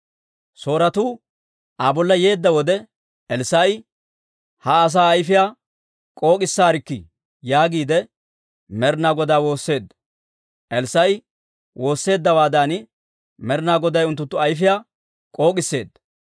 Sooretuu Aa bolla yeedda wode Elssaa'i, «Ha asaa ayfiyaa k'ook'issaarikkii» yaagiide Med'ina Godaa woosseedda. Elssaa'i woosseeddawaadan Med'ina Goday unttunttu ayfiyaa k'ook'isseedda.